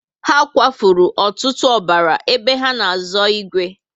Ha kwa furu ọtụtụ ọbara ébé ha na azo igwe